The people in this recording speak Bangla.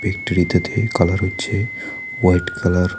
ফ্যাক্টরিতে থে কালার হচ্ছে হোয়াইট কালার ।